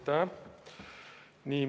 Aitäh!